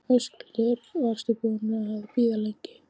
Höskuldur: Varstu búinn að bíða lengi?